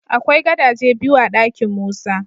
Akwai gadaje biyu a dakin Musa.